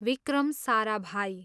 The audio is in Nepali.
विक्रम साराभाई